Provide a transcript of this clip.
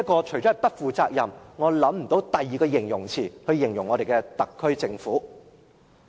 除了"不負責任"，我想不到有其他合適字眼可以形容我們的特區政府。